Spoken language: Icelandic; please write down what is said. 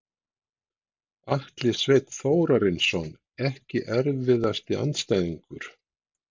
Atli Sveinn Þórarinsson Ekki erfiðasti andstæðingur?